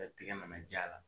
tigɛ nana j'a la